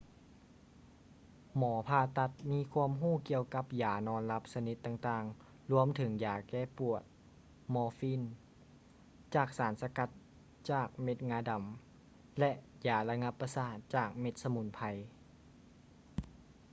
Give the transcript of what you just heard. ໝໍຜ່າຕັດມີຄວາມຮູ້ກ່ຽວກັບຢານອນຫຼັບຊະນິດຕ່າງໆລວມເຖິງຢາແກ້ປວດ morphine ຈາກສານສະກັດຈາກເມັດງາດໍາ ແລະ ຢາລະງັບປະສາດຈາກເມັດສະໝຸນໄພ